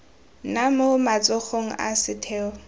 nna mo matsogong a setheo